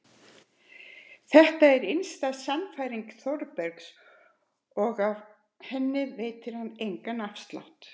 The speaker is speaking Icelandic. En þetta er innsta sannfæring Þórbergs og af henni veitir hann engan afslátt.